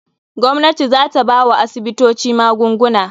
Gwamnati za ta bawa asibitoci magunguna.